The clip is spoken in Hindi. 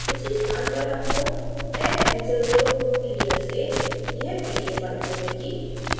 उसी स्थान पर आपको tex user group india से यह pdf फाइल मिलेगी